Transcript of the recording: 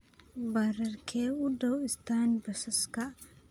Baararkee u dhow istaan ​​basaska?